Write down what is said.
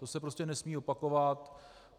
To se prostě nesmí opakovat.